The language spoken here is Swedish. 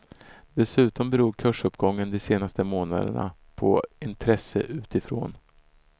Dessutom beror kursuppgången de senaste månaderna på intresse utifrån.